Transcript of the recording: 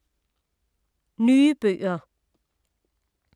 Nye bøger